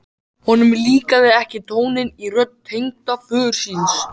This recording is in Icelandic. Honum líkaði ekki tónninn í rödd tengdaföður síns.